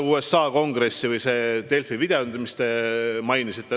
Nüüd see Delfi video, mida te mainisite.